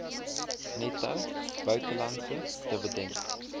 netto buitelandse dividend